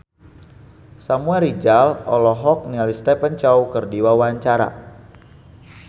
Samuel Rizal olohok ningali Stephen Chow keur diwawancara